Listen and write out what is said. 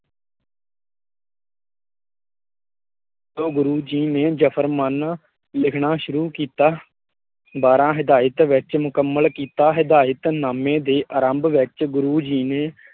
ਗੁਰੁ ਜੀ ਨੇ ਜਫ਼ਰਮਾਨਾ ਲਿੱਖਣਾ ਸ਼ੁਰੂ ਕੀਤਾ ਬਾਰ੍ਹਾਂ ਹਦਾਇਤ ਵਿੱਚ ਮੁਕਮੱਲ ਕੀਤਾ ਹਦਾਇਤ ਨਾਮੇ ਦੇ ਆਰੰਭ ਵਿੱਚ ਗੁਰੁ ਜੀ ਨੇ